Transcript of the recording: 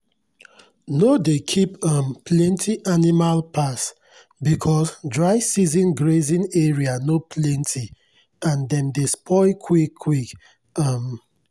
no dey keep um plenty animal pass because dry season grazing area no plenty and dem dey spoil quick quick. um